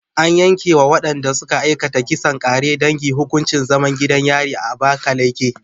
An yanke wa waɗanda suka aikata kisan ƙare dangi hukuncin zaman gidan yari a Abakaleke.